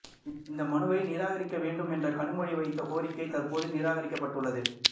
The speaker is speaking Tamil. இந்த மனுவை நிராகரிக்க வேண்டும் என்று கனிமொழி வைத்த கோரிக்கை தற்போது நிராகரிக்கப்பட்டுள்ளது